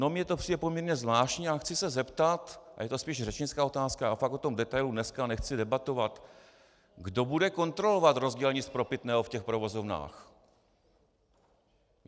No mně to přijde poměrně zvláštní a chci se zeptat, a je to spíš řečnická otázka, já fakt o tom detailu dneska nechci debatovat - kdo bude kontrolovat rozdělení spropitného v těch provozovnách?